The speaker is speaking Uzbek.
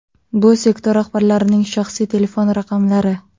Bu sektor rahbarlarining shaxsiy telefon raqamlari.